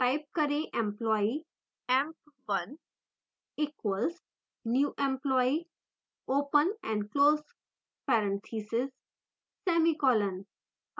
type करें: employee emp1 = new employee open and close parenthesis semicolon